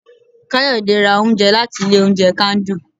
kayode ra oúnjẹ latí ilé oúnjẹ kandu